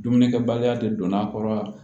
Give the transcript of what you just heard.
Dumunikɛbaliya de don a kɔrɔ